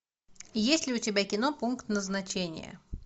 есть ли у тебя кино пункт назначения